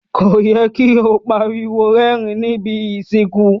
Ko yẹ ki o pariwo rérìn ni ibi ìsìnkú.